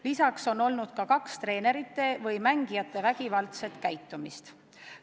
Lisaks on olnud ka kaks treenerite või mängijate vägivaldse käitumise juhtumit.